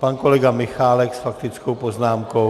Pan kolega Michálek s faktickou poznámkou?